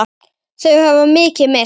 Þau hafa mikið misst.